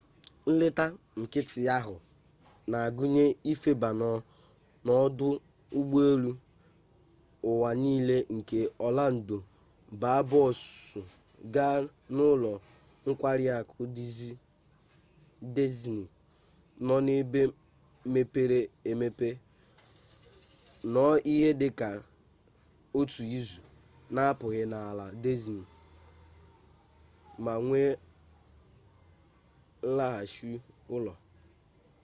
nleta nkịtị ahụ na-agụnye ifeba n'ọdụ ụgbọ elu ụwa nile nke ọlando baa bọọsụ gaa n'ụlọ nkwari akụ dizni nọ n'ebe mepere emepe nọọ ihe dị ka otu izu na-apụghị n'ala dizni ma wee laghachi ụlọ